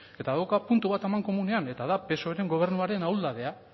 eta dauka puntu bat amankomunean eta da psoeren gobernuaren ahuldadea